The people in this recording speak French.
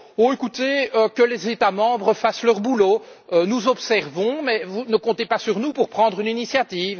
Oh, écoutez, que les États membres fassent leur boulot, nous observons, mais ne comptez pas sur nous pour prendre une initiative.